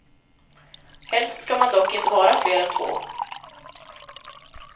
Helst ska man dock inte vara fler än två.